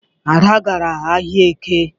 Ada gara ahịa Eke.